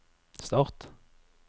start